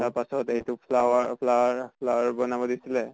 তাৰ পাছত এই টো flower flower flower বনাব দিছিলে